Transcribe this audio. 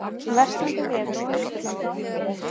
Versnandi veður á Austurlandi